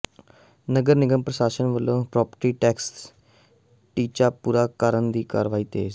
ਨਗਰ ਨਿਗਮ ਪ੍ਰਸ਼ਾਸਨ ਵਲੋਂ ਪ੍ਰਾਪਰਟੀ ਟੈਕਸ ਟੀਚਾ ਪੂਰਾ ਕਰਨ ਦੀ ਕਾਰਵਾਈ ਤੇਜ਼